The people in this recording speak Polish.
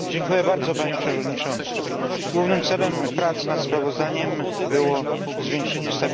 Głównym celem prac nad sprawozdaniem było zwiększenie stabilności finansowej w Unii Europejskiej.